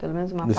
Pelo menos uma